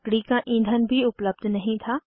लकड़ी का ईंधन भी उपलब्ध नहीं था